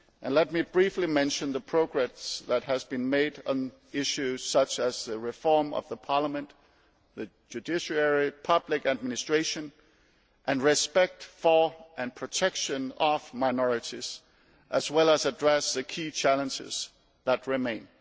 Let me briefly mention the progress which has been made on issues such as the reform of the parliament, the judiciary, public administration and respect for and protection of minorities, before I address the key challenges that remain.